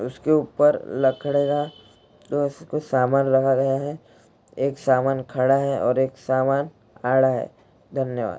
उसके ऊपर लकड़े का कुछ सामान लगा रहे है एक सामान खड़ा है और एक सामान आ रहा है धन्यवाद।